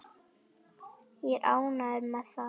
Er ég ánægður með það?